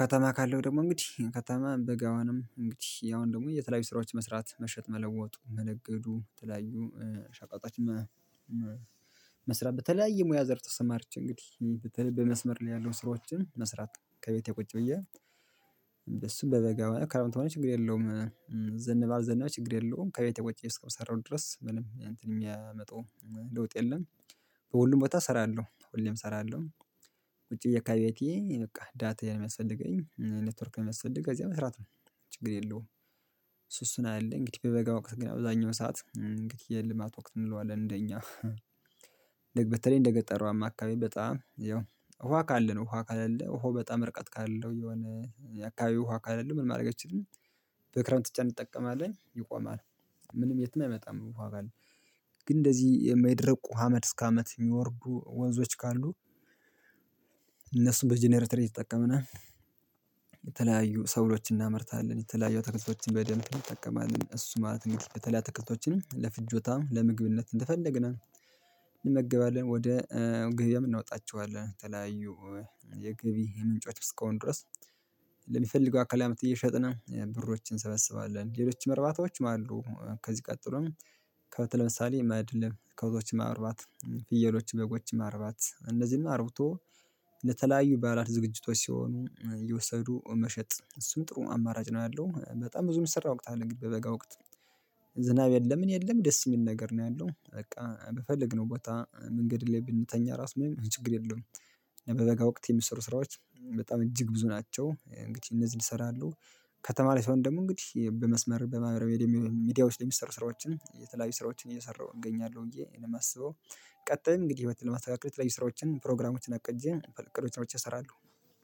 ከተማ ካለው ደግሞ እንግዲህ ከተማ በጋውንም እንግዲህ ያው ደግሞ የተለያዩ ስራዎች መስራት መሸጥ መለወጡ መነገዱ የተለያዩ ሸቀጦች መመ መስራት በተለያየ ሙያ ዘር ተሰማርቼ እንግዲህ በተለይ በመስመር ላይ ያለው ስራዎችን መስራት ከቤቴ ቁጭ ብዬ እሱን በበጋ ሆነ ክረምት ሆነ ችግር የለውም። ዘነበ አልዘነበ ችግር የለውም ከቤቴ ቁጪ እስከሰራው ድረስ ምንም እንትን የሚያመጣው ለውጥ የለም። በሁሉም ቦታ እሰራለሁ ሁሌም እሰራለሁ። ውጪ ከቤቴ በቃ ዳታዬ ነው ሚያስፈልገኝ ኔትወርክ የሚያስፈልግ ከዚያ መስራት ነው ችግር የለውም። እሱ እሱነው ያለ እንግዲህ በበጋ ወቅት ግን አብዛኛው ሰዓት እንግዲህ የልማት ወቅት እንለዋለን እንደኛ በተለይ እንደገጠሯማ አካባቢ በጣም ያው ውሃ ካለ ነው ውሃ ካለለ ውሃው በጣም ርቀት ካለው የሆነ የአካባቢ ውሃ ካለለ ምን ማድረግ አትችልም? በክረምት ብቻ እንጠቀማለን ይቆማል። ምንም የትም አይመጣም ውሃ ካለ። ግን እንደዚህ የማይደርቁ አመት እስከ አመት የሚወርዱ ወንዞች ካሉ። እነሱን በጀነሬተር እየተጠቀምነ የተለያዩ ሰብሎችን እናመርታለን። የተለያዩ አትክልቶችን በደንብ እንጠቀማለን እሱ ማለት እንግዲህ በተለያዩ አትክልቶችን ለፍጆታም ለምግብነት እንደፈለግነ። እንመገባለን ወደ ገበያም እናወጣቸዋለን ተለያዩ የገቢህ ምንጮች እስከሆኑ ድረስ። አካላም እየሸጥን ብሮችን እንሰበስባለን። ሌሎች እርባታዎች አሉ ከዚህ ቀጥሎም። ከብት ለምሳሌ ማድለብ ከብቶችን ማርባት ፍየሎች በጎችን ማርባት እንደዚህም አርብቶ ለተለያዩ በዓላት ዝግጅቶች ሲሆኑ እየወሰዱ መሸጥ እሱም ጥሩ አማራጭ ነው። ያለው በጣም ብዙ የሚሰራ ወቅት አለ በበጋ ወቅት። ዝናብ የለም ምን የለም ደስ የሚል ነገር ነው ያለው በቃ በፈልግ ነው ቦታ መንገድ ላይ ብንተኛ ራስ ምንም ችግር የለውም። በበጋ ወቅት የሚሰሩ ስራዎች በጣም እጅግ ብዙ ናቸው። እንግዲህ እነዚህን እሰራለሁ። ከተማ ላይ ስሆን ደግሞ እንግዲህ በመስመር በማህበራዊ ሚዲያዎች የሚሰሩ ስራዎችን የተለያዩ ስራዎችን እየሰራሁ እገኛለሁ ብዬነው የማስበው። ቀጣይም እንግዲህ ህይወት ለማስተካከል የተለያዩ ስራዎችን ፕሮግራሞችን አቅጄ እቅዶችን አውጥቼ እሰራለሁ።